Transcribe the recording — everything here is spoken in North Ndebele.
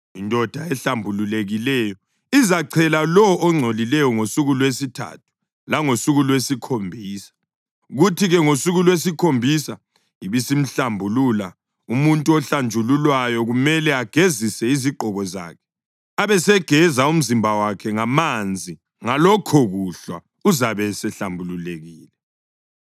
Indoda ehlambulukileyo izachela lowo ongcolileyo ngosuku lwesithathu langosuku lwesikhombisa, kuthi-ke ngosuku lwesikhombisa ibisimhlambulula. Umuntu ohlanjululwayo kumele agezise izigqoko zakhe abesegeza umzimba wakhe ngamanzi, Ngalokhokuhlwa uzabe esehlambululukile.